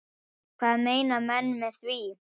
Hvað meina menn með því?